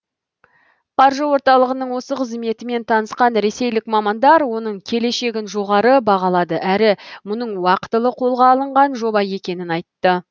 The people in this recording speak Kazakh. қаржы орталығының осы қызметімен танысқан ресейлік мамандар оның келешегін жоғары бағалады әрі мұның уақтылы қолға алынған жоба екенін айтты